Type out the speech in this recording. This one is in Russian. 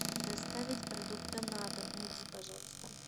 доставить продукты на дом найди пожалуйста